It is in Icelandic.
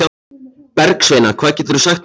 Bergsveina, hvað geturðu sagt mér um veðrið?